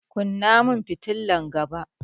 Kunna fitilan gaba!